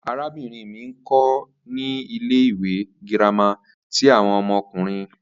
Arabinrin mi nkọ ni ile-iwe girama ti awọn ọmọkunrin